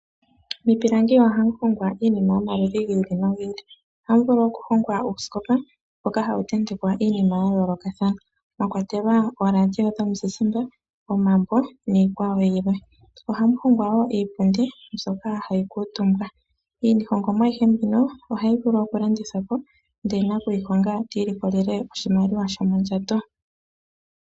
Miipilangi ohamu hongwa iinima yomaludhi gi ili nogi ili. Ohamu vulu okuhongwa uusikopa mboka hawu tentekwa iinima ya yoolokathana mwa kwatelwa ooradio dhomuzizimba, omambo niikwawo yilwe. Ohamu hongwa wo iipundi mbyoka hayi kuutumbwa. Iihongomwa ayihe mbino ohayi vulu okulandithwa po, ndele nakuyi honga ti ilikolele oshimaliwa shomondjato.